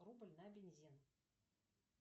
рубль на бензин